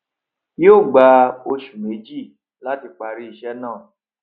yí ó gba oṣù méjì láti parí ìṣe náà